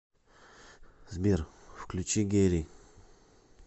сбер включи герри